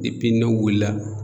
n'o wulila